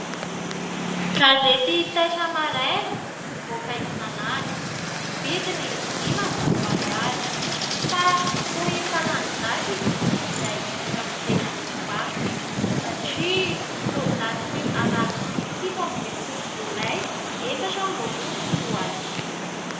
Gazety taitra maraina mivoaka isan'andro, vidiny dimanjato ariary. Fa toa efa lany daty ity iray hitako teny amin'ny mpivarotra satria toa datin'ny alarobia fito ambin'ny folo jolay efatra amby roapolo sy roa arivo.